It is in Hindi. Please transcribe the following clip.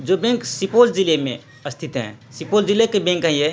ये बैंक सुपौल जिले मै स्थित हैं | सुपौल जिले के बैंक हैं ये |